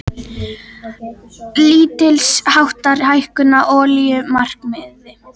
Lítilsháttar hækkun á olíumarkaði